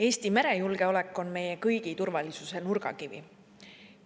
Eesti merejulgeolek on meie kõigi turvalisuse nurgakivi.